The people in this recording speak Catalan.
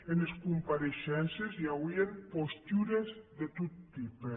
enes compareishences i auien postures de tot tipe